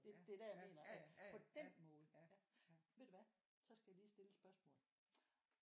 Det er der jeg mener at på den måde ja ved du hvad så skal jeg lige stille et spørgsmål